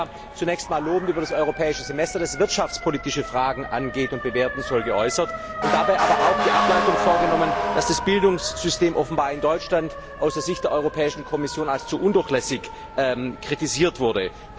Er hat sich ja zunächst einmal lobend über das Europäische Semester, das wirtschaftspolitische Fragen angeht und bewerten soll, geäußert und dabei aber auch die Ableitung vorgenommen, dass das Bildungssystem offenbar in Deutschland aus der Sicht der Europäischen Kommission als zu undurchlässig kritisiert wurde.